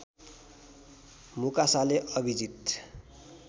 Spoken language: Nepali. मुकासाले अविजित